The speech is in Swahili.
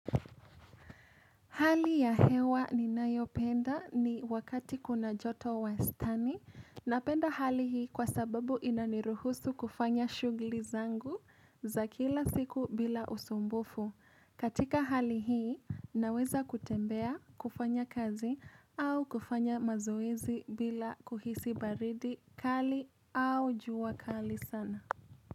Hali ya hewa ninayopenda ni wakati kuna joto wastani napenda hali hii kwa sababu inaniruhusu kufanya shughuli zangu za kila siku bila usumbufu. Katika hali hii naweza kutembea kufanya kazi au kufanya mazoezi bila kuhisi baridi kali au jua kali sana.